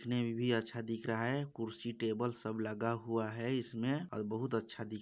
देखने में भी अच्छा दिख रहा है कुर्सी टेबल सब लगा हुआ है इसमें और बहुत अच्छा दिख --